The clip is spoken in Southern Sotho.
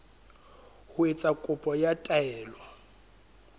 ho etsa kopo ya taelo